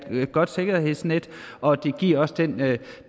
godt sikkerhedsnet og det giver også den